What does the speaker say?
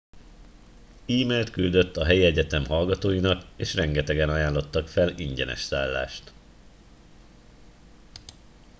e mailt küldött a helyi egyetem hallgatóinak és rengetegen ajánlottak fel ingyenes szállást